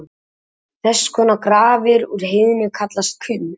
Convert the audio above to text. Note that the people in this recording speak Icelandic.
Þess konar grafir úr heiðni kallast kuml.